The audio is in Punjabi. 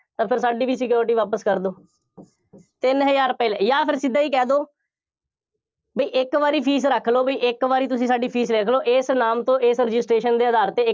ਤਾਂ ਫਿਰ ਸਾਡੀ ਵੀ security ਵਾਪਸ ਕਰ ਦਿਓ, ਤਿੰਨ ਹਜ਼ਾਰ ਰੁਪਏ ਜਾਂ ਫਿਰ ਸਿੱਧਾ ਹੀ ਕਹਿ ਦਿਓ, ਬਈ ਇੱਕ ਵਾਰੀ fees ਰੱਖ ਲਓ, ਬਈ ਇੱਕ ਵਾਰੀ ਤੁਸੀਂ ਸਾਡੀ fees ਰੱਖ ਲਓ, ਇਸ ਨਾਮ ਤੇ, ਇਸ registration ਦੇ ਆਧਾਰ ਤੇ,